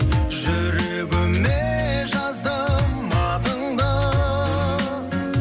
жүрегіме жаздым атыңды